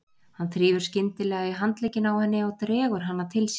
Hann þrífur skyndilega í handlegginn á henni og dregur hana til sín.